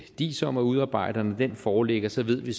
diis om at udarbejde og når den foreligger så ved